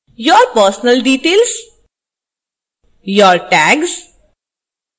your personal details your tags